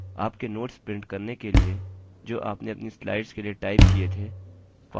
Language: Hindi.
आपके notes print करने के लिए जो आपने अपनी slides के लिए टाइप किए थे file और print पर click करें